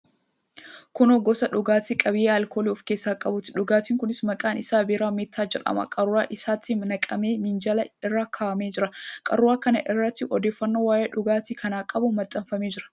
Kun gosa dhugaatii qabiyyee alkoolii of keessaa qabuuti. Dhugaatiin kunis maqaan isaa biiraa meettaa jedhama. Qaruuraa isaatti naqamee minjaala irra kaa'amee jira. Qaruuraa kana irratti odeeffannoon waa'ee dhugaatii kanaa qabu maxxanfamee jira.